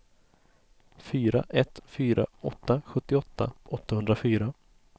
fyra ett fyra åtta sjuttioåtta åttahundrafyra